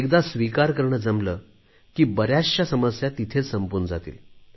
एकदा स्वीकार करणे जमले की बऱ्याचशा समस्या तिथेच संपून जातील